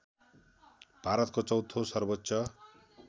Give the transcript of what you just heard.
भारतको चौथो सर्वोच्च